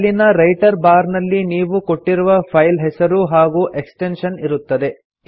ಅಲ್ಲಿನ title bar ನಲ್ಲಿ ನೀವು ಕೊಟ್ಟಿರುವ ಫೈಲ್ ಹೆಸರು ಹಾಗೂ ಎಕ್ಸ್ಟೆನ್ಶನ್ ಇರುತ್ತದೆ